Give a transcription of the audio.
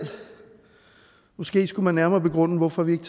måske skulle man nærmere begrunde hvorfor vi ikke